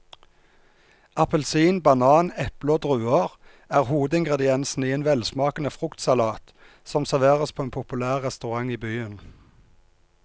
Appelsin, banan, eple og druer er hovedingredienser i en velsmakende fruktsalat som serveres på en populær restaurant i byen.